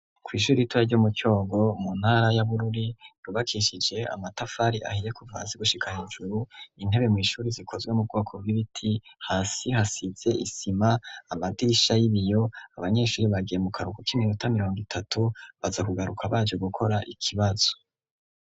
Kw'ishure ritoya ryo mu cyogo mu ntara ya Bururi rubakishije amatafari ahiye kuvazigushika hejuru intebe mu ishuri zikozwe mu bwoko bw'ibiti hasi hasitze isima amadirisha y'ibiyo abanyeshuri bagiye mu karugo k'iminota miriongo itatu baza kugaruka bacu gukora ikibazo.